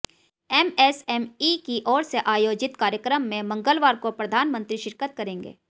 MSME की ओर से आयोजित कार्यक्रम में मंगलवार को प्रधानमंत्री शिरकत करेंगे